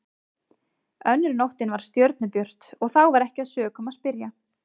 Önnur nóttin var stjörnubjört og þá var ekki að sökum að spyrja.